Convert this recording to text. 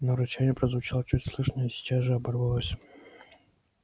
но рычание прозвучало чуть слышно и сейчас же оборвалось